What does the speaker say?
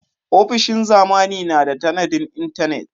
Ofishin zamani na da tanadin intanet.